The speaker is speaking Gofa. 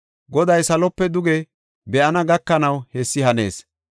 Goday salope duge be7ana gakanaw hessi hanees.